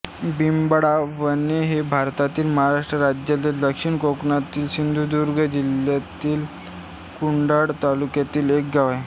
बिबावणे हे भारतातील महाराष्ट्र राज्यातील दक्षिण कोकणातील सिंधुदुर्ग जिल्ह्यातील कुडाळ तालुक्यातील एक गाव आहे